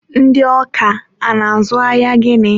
ndị ọka a na-azụ ahịa gịnị?